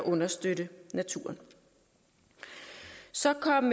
understøtte naturen så kom